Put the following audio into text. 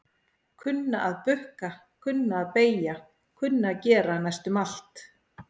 Kunna að bukka, kunna að beygja kunna að gera næstum allt.